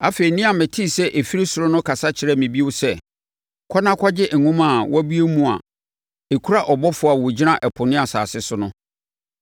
Afei, nne a metee sɛ ɛfiri ɔsoro no kasa kyerɛɛ me bio sɛ. “Kɔ na kɔgye nwoma a wabue mu a ɛkura ɔbɔfoɔ a ɔgyina ɛpo ne asase so no.”